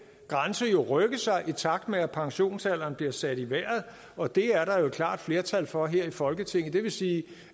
grænse jo vil rykke sig i takt med at pensionsalderen bliver sat i vejret og det er der jo et klart flertal for her i folketinget det vil sige at